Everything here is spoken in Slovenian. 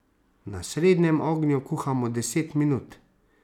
Na srednjem ognju kuhamo deset minut.